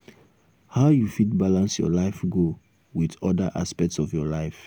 how you fit balance your life goal with oda aspects of your life?